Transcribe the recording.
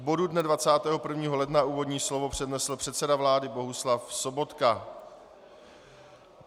K bodu dne 21. ledna úvodní slovo přednesl předseda vlády Bohuslav Sobotka.